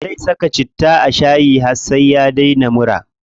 Zai na saka citta a shayi har sai ya daina mura.